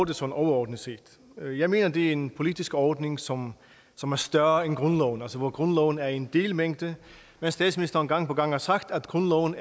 det sådan overordnet set jeg mener at det er en politisk ordning som som er større end grundloven altså hvor grundloven er en delmængde men statsministeren har gang på gang sagt at grundloven